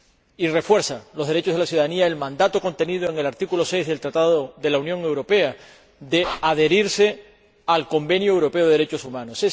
Y refuerza los derechos de la ciudadanía el mandato contenido en el artículo 6 del Tratado de la Unión Europea de adherirse al Convenio Europeo de Derechos Humanos.